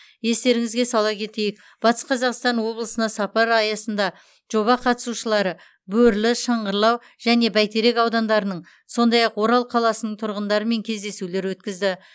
естеріңізге сала кетейік батыс қазақстан облысына сапар аясында жоба қатысушылары бөрлі шыңғырлау және бәйтерек аудандарының сондай ақ орал қаласының тұрғындарымен кездесулер өткізді